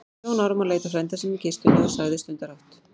Jón Ármann leit á frænda sinn í kistunni og sagði stundarhátt